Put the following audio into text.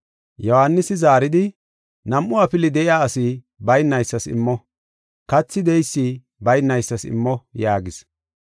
Yohaanisi zaaridi, “Nam7u afili de7iya asi baynaysas immo. Kathi de7eysi baynaysas immo” yaagis.